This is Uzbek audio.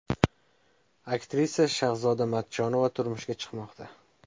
Aktrisa Shahzoda Matchonova turmushga chiqmoqda.